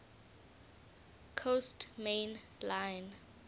coast main line